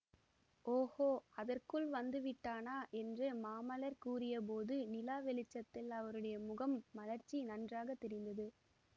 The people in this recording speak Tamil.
ஓஹோ அதற்குள் வந்து விட்டானா என்று மாமல்லர் கூறிய போது நிலா வெளிச்சத்தில் அவருடைய முகம் மலர்ச்சி நன்றாக தெரிந்தது